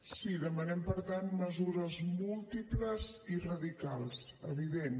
sí demanem per tant mesures múltiples i radicals evident